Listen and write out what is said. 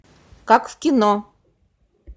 как в кино